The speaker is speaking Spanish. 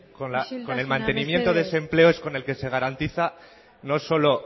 con el mantenimiento de ese empleo es con el que se garantiza no solo